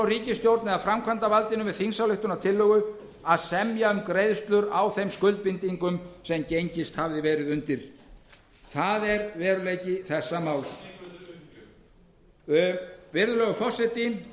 er að við erum nú að semja um greiðslu á láni sem tekið var af fyrrverandi ríkisstjórn en erum ekki að taka lánið af hverju erum við að semja um greiðsluna